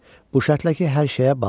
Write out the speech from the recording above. Bu şərtlə ki, hər şeyə bax.